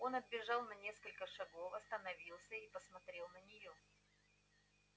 он отбежал на несколько шагов остановился и посмотрел на нее